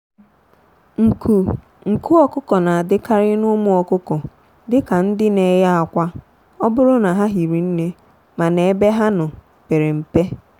nku nku ọkụkọ na adịkarị n'ụmụ ọkụkọ dika ndị n'eye akwa oburu na ha hiri nne mana ebe ha nọ pere mpe.